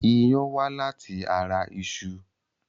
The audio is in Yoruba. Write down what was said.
Iyán wá láti ara iṣu.